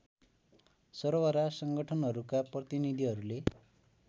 सर्वहारा संगठनहरूका प्रतिनीधीहरूले